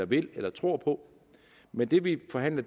vil eller tror på men det vi forhandler